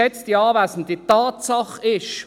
Geschätzte Anwesende, Tatsache ist: